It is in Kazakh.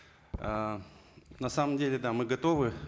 ыыы на самом деле да мы готовы